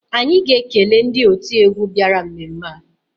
Anyị ga-ekele ndị otiegwu bịara mmemme a